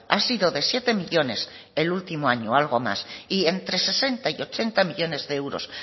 ha sido de siete millónes el último año algo más y entre sesenta y ochenta millónes de euros